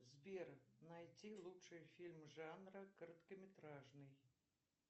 сбер найти лучшие фильмы жанра короткометражный